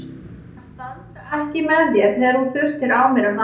Að standa ekki með þér þegar þú þurftir á mér að halda.